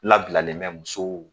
Labilalen bɛ musow